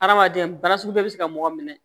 Adamaden bana sugu bɛɛ bɛ se ka mɔgɔ minɛ